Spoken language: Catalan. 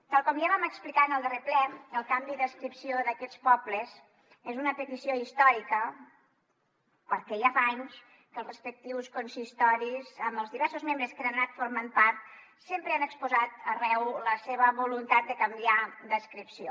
tal com ja vam explicar en el darrer ple el canvi d’adscripció d’aquests pobles és una petició històrica perquè ja fa anys que els respectius consistoris amb els diversos membres que n’han anat formant part sempre han exposat arreu la seva voluntat de canviar d’adscripció